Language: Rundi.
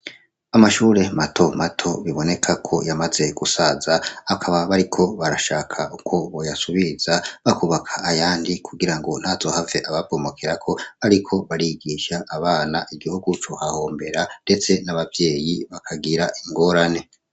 Amashure mato mato biboneka ko yamaze gusaza akaba bariko barashaka uko boyasubiza bakubaka ayandi kugira ngo ntazohave ababomokerako bariko barigisha abana igiho guco hahombera, ndetse n'abavyeyi bakagira ingorane.